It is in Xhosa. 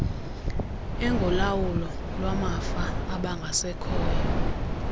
engolawulo lwamafa abangasekhoyo